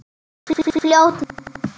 Fljótur nú!